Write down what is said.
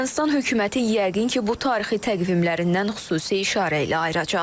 Ermənistan hökuməti yəqin ki, bu tarixi təqvimlərindən xüsusi işarə ilə ayıracaq.